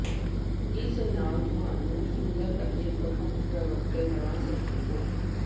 ਇਸ ਨਾਲ ਤੁਹਾਨੂੰ ਸੁੰਦਰ ਅਤੇ ਪ੍ਰਮੁੱਖ ਭਰਵੱਟੇ ਬਣਾ ਸਕਦੇ ਹੋ